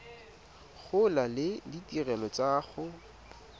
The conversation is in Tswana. gola le ditirelo tsa go